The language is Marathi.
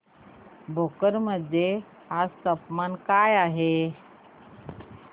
भोकर मध्ये आज तापमान काय आहे